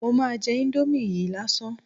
Mo máa jẹ íńdómì yìí lásán ni.